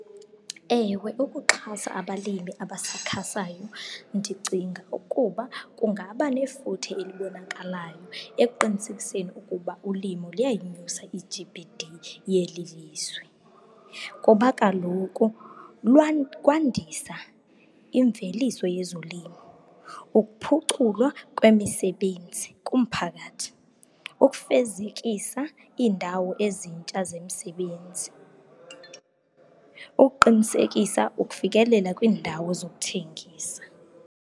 Ewe, ukuxhasa abalimi abasakhasayo, ndicinga ukuba kungaba nefuthe elibonakalayo ekuqinisekiseni ukuba ulimo luyayinyusa i-G_B_D yeli lizwe. Ngoba kaloku kwandisa imveliso yezolimo, ukuphuculwa kwemisebenzi kumphakathi, ukufezekisa iindawo ezintsha zemisebenzi, ukuqinisekisa ukufikelela kwiindawo zokuthengisa.